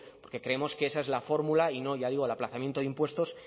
porque creemos que esa es la fórmula y no ya digo el aplazamiento de impuestos